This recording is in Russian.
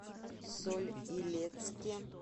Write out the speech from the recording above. соль илецке